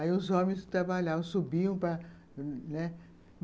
Aí os homens que trabalhavam subiam para, né